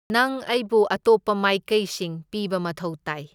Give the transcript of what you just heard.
ꯅꯪ ꯑꯩꯕꯨ ꯑꯇꯣꯞꯄ ꯃꯥꯏꯀꯩꯁꯤꯡ ꯄꯤꯕ ꯃꯊꯧ ꯇꯥꯏ꯫